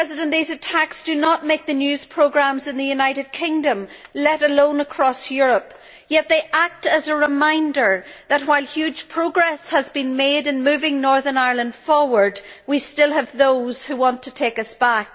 These attacks do not make the news programmes in the United Kingdom, let alone across Europe, yet they act as a reminder that, while huge progress has been made in moving Northern Ireland forward, we still have those who want to take us back.